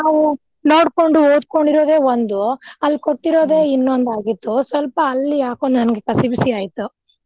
ನಾವು ನೋಡ್ಕೊಂಡು ಓದ್ಕೊಂಡಿರೋದೇ ಒಂದು ಅಲ್ಲಿ ಕೊಟ್ಟಿರೋದೆ ಇನ್ನೊಂದಾಗಿತ್ತು ಸ್ವಲ್ಪ ಅಲ್ಲಿ ಯಾಕೊ ನಂಗೆ ಕಸಿವಿಸಿ ಆಯ್ತು.